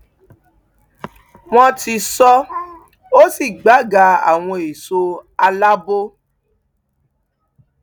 wọn ti sọ ọ sí gbàgà àwọn èso alaabo